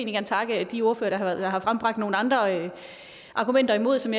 gerne takke de ordførere der har frembragt nogle andre argumenter imod som